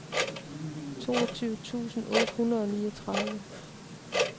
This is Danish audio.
toogtyve tusind otte hundrede og niogtredive